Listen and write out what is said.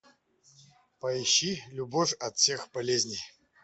поищи любовь от всех болезней